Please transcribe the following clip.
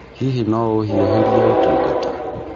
Hihi no ũhiũhĩrie ũtungata ?